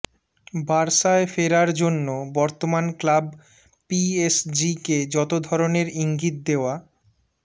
বার্সায় ফেরার জন্য বর্তমান ক্লাব পিএসজিকে যত ধরনের ইঙ্গিত দেওয়া